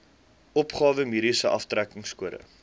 opgawe mediese aftrekkingskode